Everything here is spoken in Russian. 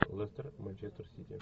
лестер манчестер сити